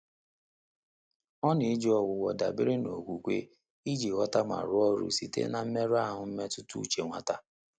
Ọ́ nà-éjí ọ́gwụ́gwọ́ dàbéré nà ókwúkwé ìjí ghọ́tà mà rụ́ọ́ ọ́rụ́ sìté nà mmérụ́ áhụ́ mmétụ́tà úchè nwátá.